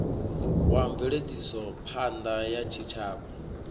wa mveledzisophan ḓa ya tshitshavha